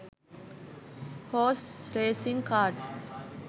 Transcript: horse racing cards